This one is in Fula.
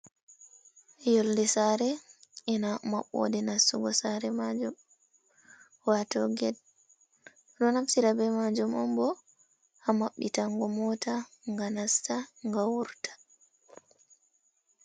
Yolɗe sare ina mabbode nastugo sare majum wato ged, ɗo naftira be majum onbo, ha mamɓitango mota gam nasta ga wurta.